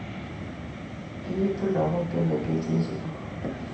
Kiitu lagok che mengech eng sukul